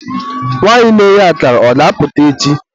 nwanyị na-eghe akara, ọ ga-apụta echi?